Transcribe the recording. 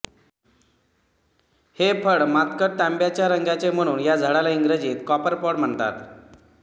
हे फळ मातकट तांब्याच्या रंगाचे म्हणून या झाडाला इंग्रजीत कॉपर पाॅॅड म्हणतात